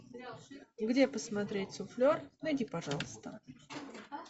где посмотреть суфлер найди пожалуйста